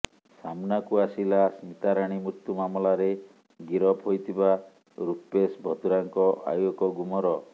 ସାମନାକୁ ଆସିଲା ସ୍ମିତାରାଣୀ ମୃତ୍ୟୁ ମାମଲାରେ ଗିରଫ ହୋଇଥିବା ରୂପେଶ ଭଦ୍ରାଙ୍କ ଆଉ ଏକ ଗୁମର